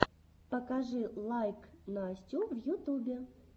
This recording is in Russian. покажи лайк настю в ютубе